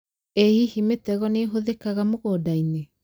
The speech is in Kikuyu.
ĩ hihi mĩtego nĩhũthĩkaga mũgũnda-inĩ